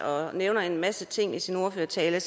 og nævner en masse ting i sin ordførertale